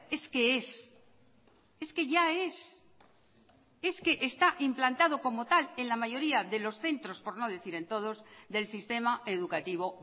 es que es es que ya es es que está implantado como tal en la mayoría de los centros por no decir en todos del sistema educativo